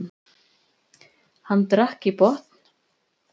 Hann drakk í botn.